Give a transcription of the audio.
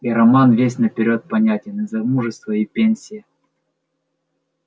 и роман весь наперёд понятен и замужество и пенсия